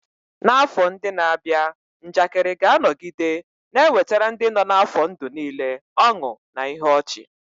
N'afọ ndị na-abịa, njakịrị ga-anọgide na-ewetara ndị nọ n'afọ ndụ niile ọṅụ na ihe ọchị.